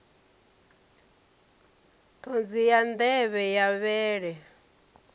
ṱhodzi ya nḓevhe ya vhele